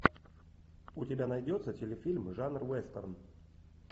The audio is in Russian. у тебя найдется телефильм жанр вестерн